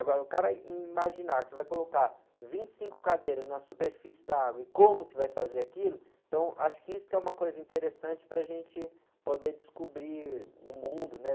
Agora, o cara imaginar que vai colocar vinte e cinco cadeiras na superfície da água e como que vai fazer aquilo, então acho que isso que é uma coisa interessante para a gente poder descobrir o mundo, né?